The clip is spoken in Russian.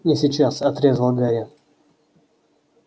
не сейчас отрезал гарри